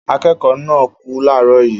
Akẹ́kọ̀ọ́ náà kú láàárọ̀ yìí